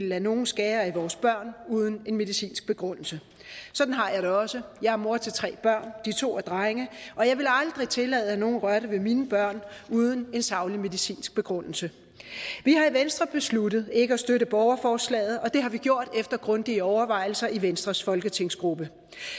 lade nogle skære i vores børn uden en medicinsk begrundelse sådan har jeg det også jeg er mor til tre børn de to er drenge og jeg ville aldrig tillade at nogen rørte ved mine børn uden en saglig medicinsk begrundelse vi har i venstre besluttet ikke at støtte borgerforslaget og det har vi gjort efter grundige overvejelser i venstres folketingsgruppe